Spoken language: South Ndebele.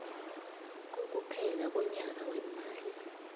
kokuphela konyaka weemali